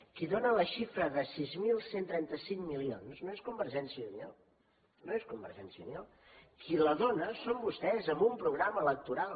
qui dóna la xifra de sis mil cent i trenta cinc milions no és convergència i unió no és convergència i unió qui la dóna són vostès amb un programa electoral